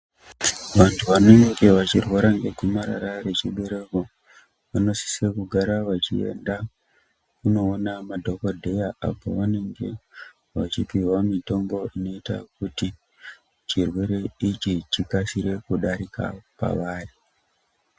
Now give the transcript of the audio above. Vantu vanenge vachirwara negomarara rechibereko vanosisa kugara vachienda kunoona madhogodheya. Apo vanenge vachipihwa mitombo inoita kuti chirwere ichi chikasire kudarika pavari.